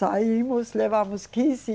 Saímos, levamos quinze